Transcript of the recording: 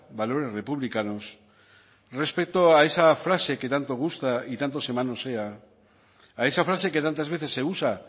valores republicanos respecto a esa frase que tanto gusta y tanto se manosea a esa frase que tantas veces se usa